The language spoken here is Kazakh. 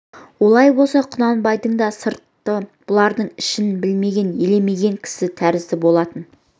олай болса құнанбайдың да сырты бұлардың ішін білмеген елемеген кісі тәрізді болатын